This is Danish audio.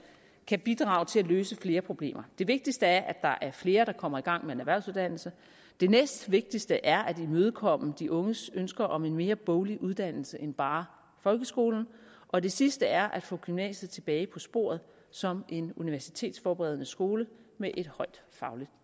kan bidrage til at løse flere problemer det vigtigste er at der er flere der kommer i gang med en erhvervsuddannelse det næstvigtigste er at imødekomme de unges ønsker om en mere boglig uddannelse end bare folkeskolen og det sidste er at få gymnasiet tilbage på sporet som en universitetsforberedende skole med et højt fagligt